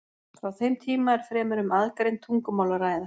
Frá þeim tíma er fremur um aðgreind tungumál að ræða.